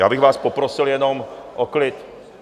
Já bych vás poprosil jenom o klid.